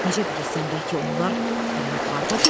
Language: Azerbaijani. Necə bilirsən, bəlkə onlar hələ yuxarıdadırlar?